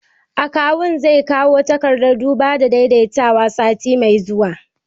Akawun zai kawo takardar duba da daidaitawa sati mai zuwa